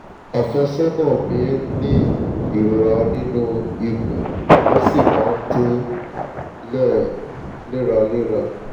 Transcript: àfẹ́sọ́nà mi ń ní ìrora nínú ikùn ó sì máa ń tọ̀ léraléra